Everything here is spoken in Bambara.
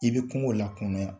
I bɛ kungo lankolonya